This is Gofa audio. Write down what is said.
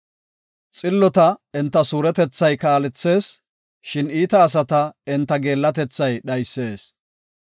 Xillota enta suuretethay kaalethees; shin iita asata enta geellatethay dhaysis.